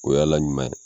O y'a la ɲuman ye